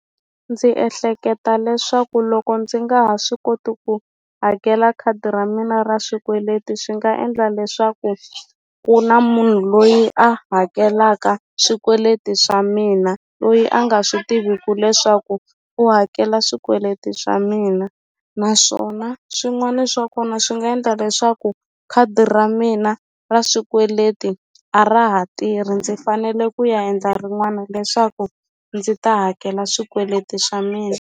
Ndzi ehleketa leswaku loko ndzi nga ha swi koti ku hakela khadi ra mina ra swikweleti swi nga endla leswaku ku na munhu loyi a hakelaka swikweleti swa mina loyi a nga swi tiviku leswaku u hakela swikweleti swa mina naswona swin'wani swa kona swi nga endla leswaku khadi ra mina ra swikweleti a ra ha tirhi ndzi fanele ku ya endla rin'wana leswaku ndzi ta hakela swikweleti swa mina.